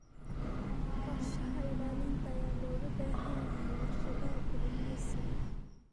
Qorshaha ilaalinta ayaa looga baahan yahay warshadaha kalluumeysiga.